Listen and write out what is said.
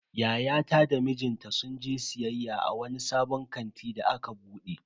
Yayata da mijinta sun je siyayya a wani sabon kanti da aka bude.